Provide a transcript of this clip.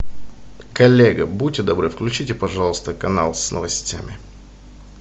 коллега будьте добры включите пожалуйста канал с новостями